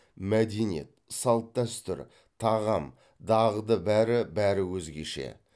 мәдениет салт дәстүр тағам дағды бәрі бәрі өзгеше